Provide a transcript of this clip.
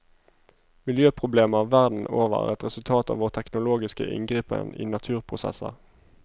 Miljøproblemer verden over er et resultat av vår teknologiske inngripen i naturprosesser.